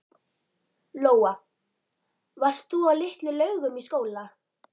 Lóa: Varst þú á Litlu-Laugum í skóla?